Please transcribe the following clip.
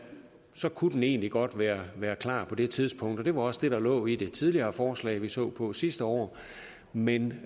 så kunne den egentlig godt være være klar på det tidspunkt og det var også det der lå i det tidligere forslag vi så på sidste år men